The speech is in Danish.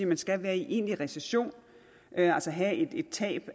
man skal være i egentlig recession altså have et tab